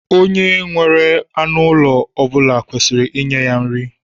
Onye nwere anụ ụlọ ọ bula kwesiri inye ya nri.